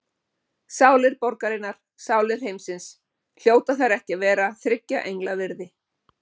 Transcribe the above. Sálir borgarinnar, sálir heimsins, hljóta þær ekki að vera þriggja engla virði?